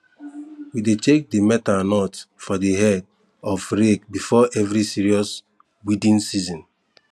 we dey check di metal nut for di head of rake before every serious weeding season